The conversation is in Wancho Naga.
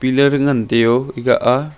pillar e ngan tai a.